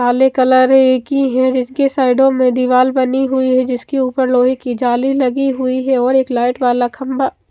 काले कलर की है जिसकी साइडो में दीवाल बनी हुई है जिसके ऊपर लोहे की जाली लगी हुई है और एक लाइट वाला खम्बा --